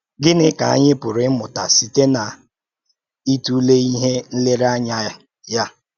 Gịnị ka anyị pụrụ ị̀mụ̀tà sịté n’ìtụ̀lé íhè nlérèànyà ya